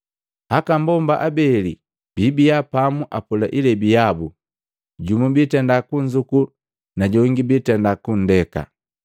Aka mbomba abeli bibia pamu apola ilebi yabu, jumu biitenda kunzuku najongi biitenda kundeka.”